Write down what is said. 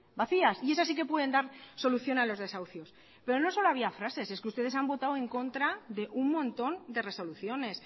vacías y esas si que pueden dar solución a los desahucios pero no solo había frases es que ustedes han votado en contra de un montón de resoluciones